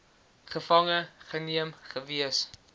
gevange geneem gewees